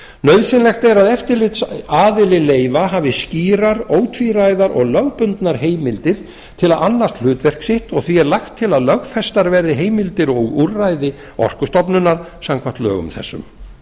nauðsynlegt er að eftirlitsaðili leyfa hafi skýrar ótvíræðar og lögbundnar heimildir til að annast hlutverk sitt og því er lagt til að lögfestar verði heimildir og úrræði orkustofnunar samkvæmt lögum þessum